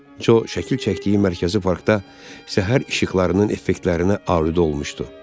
Co şəkil çəkdiyi mərkəzi parkda səhər işıqlarının effektlərinə aludə olmuşdu.